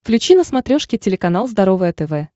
включи на смотрешке телеканал здоровое тв